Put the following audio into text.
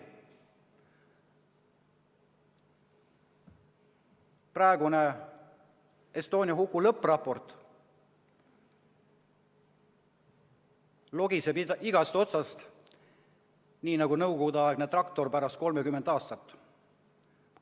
Praegune Estonia huku lõppraport logiseb igast otsast, nii nagu Nõukogude-aegne traktor pärast 30 aastat.